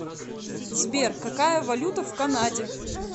сбер какая валюта в канаде